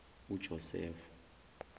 ujosefo